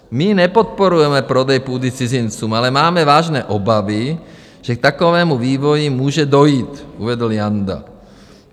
"My nepodporujeme prodej půdy cizincům, ale máme vážné obavy, že k takovému vývoji může dojít, uvedl Janda."